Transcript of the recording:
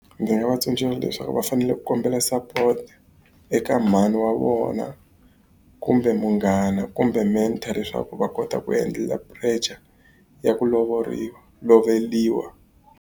Ndzi nga va tsundzuxa leswaku va fanele ku kombela support eka mhani wa vona, kumbe munghana, kumbe . Leswaku va kota ku pressure ya ku lovoriwa loveriwa.